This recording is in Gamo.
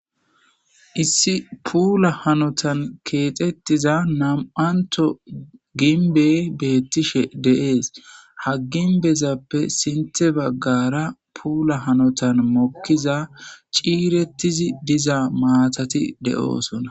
Issi pulla hanotani kexetidda nami'anitho ginibeyi betishe dessi ha ginibetappe sinithe baggara pulla hahanotan ciretida mttati deyosona